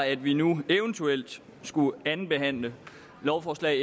at vi nu eventuelt skulle andenbehandle lovforslag